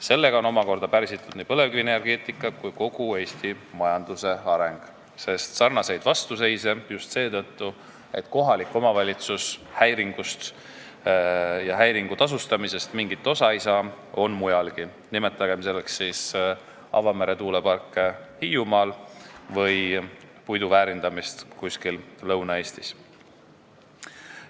Sellega on omakorda pärsitud nii põlevkivienergeetika kui ka kogu Eesti majanduse areng, sest sarnast vastuseisu – just seetõttu, et kohalik omavalitsus häiringu hüvitamisest mingit osa ei saa – on mujalgi, nimetagem avamere tuuleparke Hiiumaal või puidu väärindamist kuskil Lõuna-Eestis.